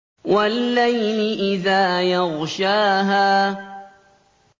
وَاللَّيْلِ إِذَا يَغْشَاهَا